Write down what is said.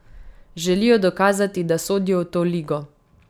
Želijo dokazati, da sodijo v to ligo.